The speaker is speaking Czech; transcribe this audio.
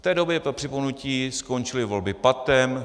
V té době, pro připomenutí, skončily volby patem.